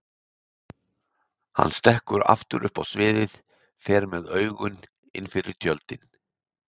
Hann stekkur aftur upp á sviðið, fer með augun innfyrir tjöldin.